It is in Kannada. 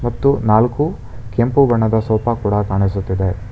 ಮತ್ತು ನಾಲ್ಕು ಕೆಂಪು ಬಣ್ಣದ ಸೋಫಾ ಕೂಡ ಕಾಣಿಸುತ್ತಿದೆ.